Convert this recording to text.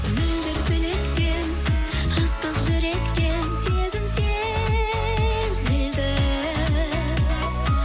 мөлдір тілектен ыстық жүректен сезім сезілді